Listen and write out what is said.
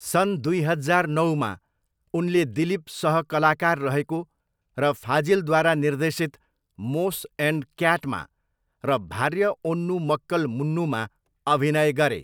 सन् दुई हजार नौमा, उनले दिलीप सह कलाकार रहेको र फाजिलद्वारा निर्देशित मोस एन्ड क्याटमा र भार्य ओन्नू मक्कल मुन्नूमा अभिनय गरे।